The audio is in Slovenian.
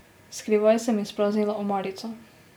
Skrivaj sem izpraznila omarico.